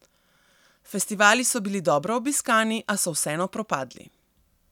Festivali so bili dobro obiskani, a so vseeno propadli.